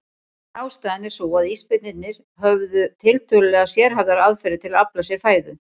Ein ástæðan er sú að ísbirnir hafa tiltölulega sérhæfðar aðferðir til að afla sér fæðu.